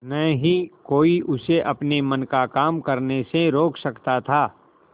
न ही कोई उसे अपने मन का काम करने से रोक सकता था